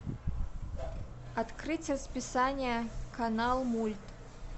открыть расписание канал мульт